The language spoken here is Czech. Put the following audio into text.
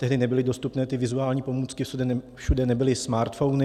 Tehdy nebyly dostupné ty vizuální pomůcky, všude nebyly smartphony.